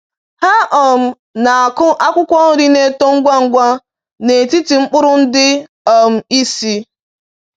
Ha um na-akụ akwụkwọ nri na-eto ngwa ngwa n'etiti mkpụrụ ndị um isi.